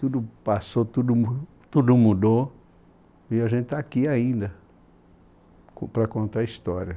Tudo passou, tudo mu, tudo mudou e a gente está aqui ainda para contar a história.